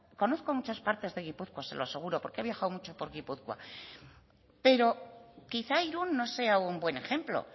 conozco muchas partes de gipuzkoa se lo aseguro porque he viajado mucho por gipuzkoa pero quizá irun no sea un buen ejemplo